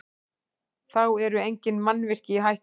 Þá eru engin mannvirki í hættu